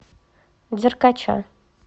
деркача